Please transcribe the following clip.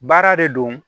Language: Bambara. Baara de don